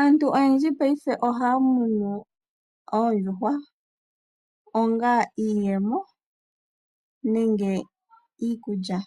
Aantu oyendji paife ohaya munu oondjuhwa onga iiyemo nenge iikulya.